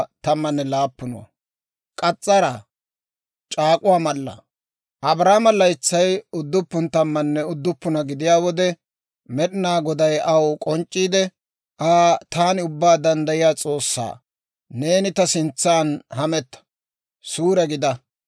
Abraamo laytsay udduppun tammanne udduppuna gidiyaa wode, Med'inaa Goday aw k'onc'c'iide Aa, «Taani Ubbaa Danddayiyaa S'oossaa; neeni ta sintsan hametta; suure gidaa.